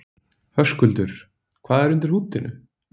Höskuldur: Hvað er undir húddinu?